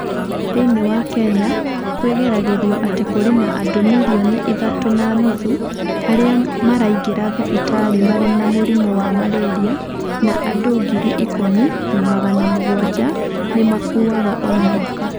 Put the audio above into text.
Thĩinĩ wa Kenya, kwĩgeragĩrio atĩ kũrĩ na andũ milioni ithatũ na nuthu arĩa maraingĩra thibitarĩ marĩ na mũrimũ wa malaria na andũ ngiri ikũmi na magana mugwaja nĩ makuaga o mwaka.